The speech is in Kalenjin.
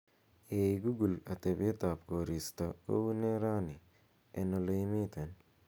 ei google atebet koristo ko unee rani en oleimiten